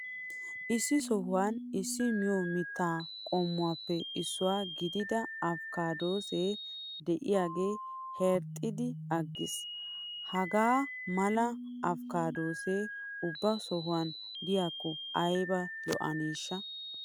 Issi sohuwan issi miyo mittaa qommoyuppe issuwa gidida afkkaaddo de'iyagee herxxexxidi aggiis! Hagaa mala afikkaaddoy ubba sohuwan de'iyakko ayba lo'aneeshsha!